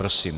Prosím.